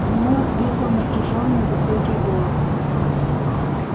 ему ответил напряжённый высокий голос